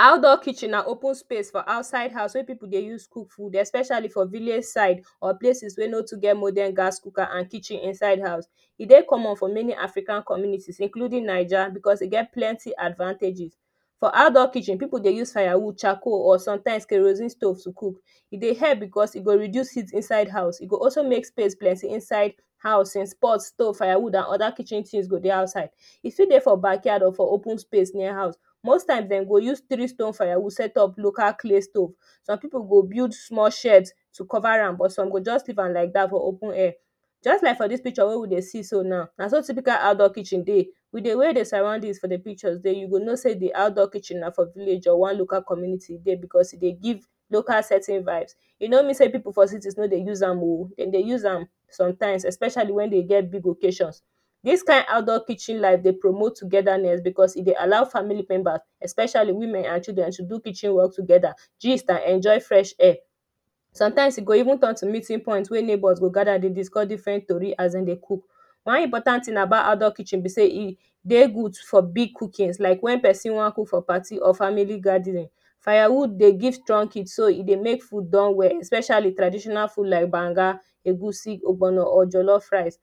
Outdoor Kitchen na open space for outside wey people dey use cook food everyday especially for village side or places wey no too get morden gasscooker and kitchen inside house E dey common for many African communities including Naija because e get plenty advantages. For outdoor Kitchen, people dey use firewood, charcoal or sometimes kerosene stove dey cook. E dey help because e go reduce heat inside house. E go also make space plenty inside house since pot stove firewood and other kitchen things go dey outside. E for dey for backyard or for open space near house Mosttimes, dem go use three stone firewood setup local claystove. Some people go build small shade to cover am, some go just leave am like that for open air. Just like for this picture wey we dey see so now, na so typical outdoor Kitchen dey with dey way the sorrounding for them pictures dey, you go know sey, the outdoor kitchen na for village or na for one local community there because e dey give local setting vibes. E no mean say people for city no dey use am oh, Dem dey use am sometimes especially when dem gets big occasion This kind outdoor kitchen life dey promote togetherness because e dey allow family member especially women and children to do kitchen work together, gist and enjoy fresh air. Sometimes e go even turn to meeting point wey neighbors go gather dey discuss different tori as Dem dey cook. One important thing about outdoor kitchen be sey e dey good for big cookings like when person wan cook for community or family gathering. Firewood dey give strong heat so e dey make food done well especially traditional food like gbanga, egusi, ogbono, or jolof rice